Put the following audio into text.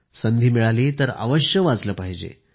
संधी मिळाली तर अवश्य वाचलं पाहिजे